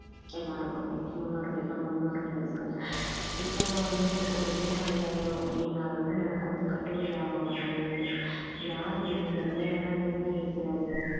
எல்லாருக்குமே முன்னோர்கள் நம் முன்னோர்களுக்கு இப்பெல்லாம் வந்து ஒரு மூட்டை ஐயாயிரம் அப்படின்னாலும் கூட நமக்கு வந்து கட்டுப்படி ஆக மாட்டேங்குது யாரு இந்த விலையெல்லாம் நிர்ணயிக்கிறது